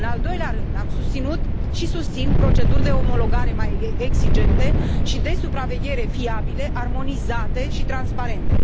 În al doilea rând, am susținut și susțin proceduri de omologare mai exigente și de supraveghere fiabile, armonizate și transparente.